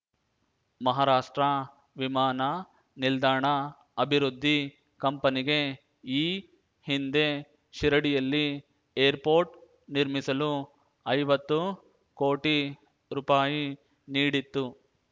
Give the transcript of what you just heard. ಮಹಾರಾಷ್ಟ್ರ ವಿಮಾನ ನಿಲ್ದಾಣ ಅಭಿವೃದ್ಧಿ ಕಂಪನಿಗೆ ಈ ಹಿಂದೆ ಶಿರಡಿಯಲ್ಲಿ ಏರ್‌ಪೋರ್ಟ್‌ ನಿರ್ಮಿಸಲು ಐವತ್ತು ಕೋಟಿ ರುಪಾಯಿ ನೀಡಿತ್ತು